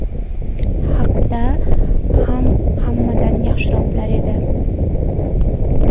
haqida ham hammadan yaxshiroq bilar edi.